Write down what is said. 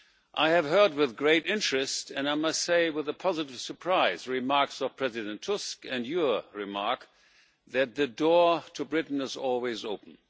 I have heard with great interest, and I must say with a positive surprise, the remarks of President Tusk, and your remark, that the door to Britain is always open.